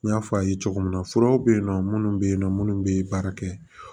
N y'a fɔ a' ye cogo min na furaw bɛ yen nɔ minnu bɛ yen nɔ minnu bɛ baara kɛ